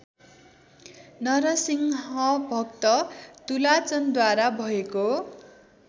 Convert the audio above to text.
नरसिंहभक्त तुलाचनद्वारा भएको